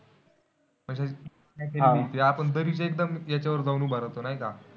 म्हणजे हा ते आपण दरीच्या एकदम याच्यावर जाऊन उभा राहतो नाही का?